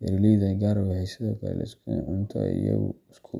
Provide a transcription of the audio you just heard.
beeraleyda qaar waxay sidoo kale isku daraan cunto ay iyagu isku.